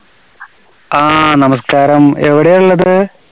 ആ നമസ്‌കാരം, എവിടെയാ ഉള്ളത്?